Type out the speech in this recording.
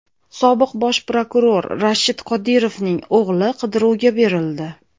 Sobiq bosh prokuror Rashid Qodirovning o‘g‘li qidiruvga berildi.